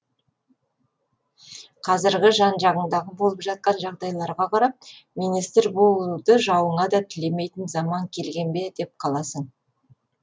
қазіргі жан жағыңдағы болып жатқан жағдайларға қарап министр болуды жауыңа да тілемейтін заман келген бе деп қаласың